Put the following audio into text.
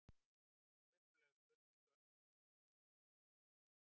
Upprunaleg spurning Hönnu hljómaði svona: